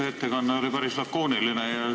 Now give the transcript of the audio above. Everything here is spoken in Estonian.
See ettekanne oli päris lakooniline.